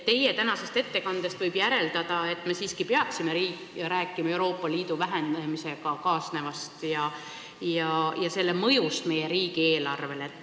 Teie tänasest ettekandest võib järeldada, et me siiski peaksime rääkima Euroopa Liidu raha vähenemisest ja sellega kaasnevast mõjust meie riigieelarvele.